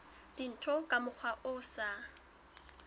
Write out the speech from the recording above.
dintho ka mokgwa o sa